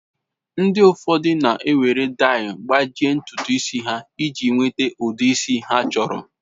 Ndi ụfọdụ na ewere dai gbajie ntutu isi ha iji nweta ụdi isi ha chọrọ.